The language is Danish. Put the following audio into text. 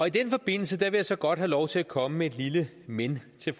i den forbindelse vil jeg så godt have lov til at komme med et lille men til